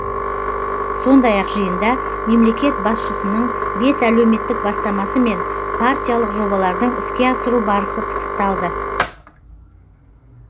сондай ақ жиында мемлекет басшысының бес әлеуметтік бастамасы мен партиялық жобалардың іске асыру барысы пысықталды